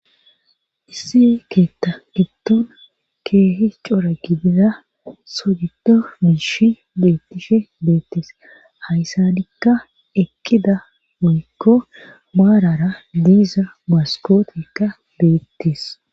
isse keetta ittuna keehi cora gidida sodido miishi deettishe deettes hayssadikka ekkida muykko baarara diiza maskootikka beettis